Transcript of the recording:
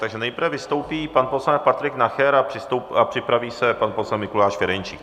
Takže nejprve vystoupí pan poslanec Patrik Nacher a připraví se pan poslanec Mikuláš Ferjenčík.